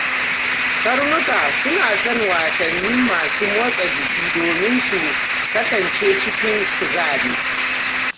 Karnuka suna son wasanni masu motsa jiki domin su kasance cikin kuzari.